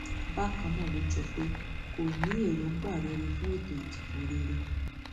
bákan náà ló jọ pé kò ní èròǹgbà rere fún ètò ìdìbò rere